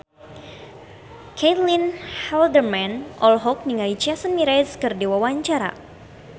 Caitlin Halderman olohok ningali Jason Mraz keur diwawancara